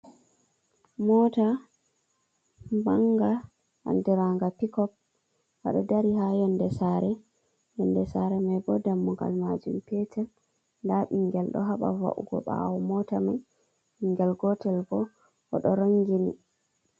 Mota banga anɗiranga pikop. Gaɗo dari ha yonde sare. Yonɗe sare mai bo ɗammugal majum petel. Nɗa bingel ɗo haba va’ugo bawo mota mai. Bingel gotel bo oɗo rangini.